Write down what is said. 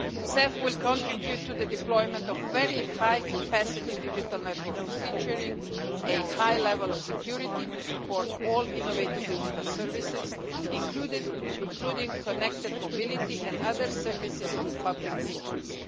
CEF will contribute to the deployment of very high capacity digital network featuring a high level of security to support all innovative digital services, including connected mobility and other services of public interest.